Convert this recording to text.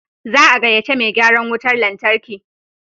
Za a gaya ce mai gyaran wutan lantarkin.